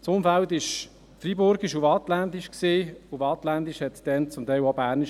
Das Umfeld war freiburgisch und waadtländisch, und waadtländisch bedeutete damals zum Teil auch bernisch.